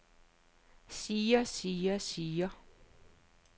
siger siger siger